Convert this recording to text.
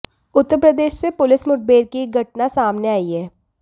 उत्तर प्रदेश से पुलिस मुठभेड़ की एक घटना सामने आई है